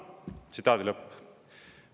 " Tsitaadi lõpp.